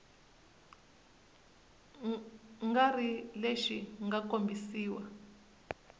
nga ri lexi mga kombisiwa